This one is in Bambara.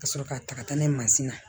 Ka sɔrɔ ka taga n'a ye mansin na